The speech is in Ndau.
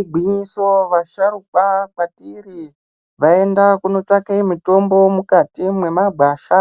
Igwinyiso vasharukwa kwatiri vaenda kunotsvake mitombo mukati mwemwagwasha.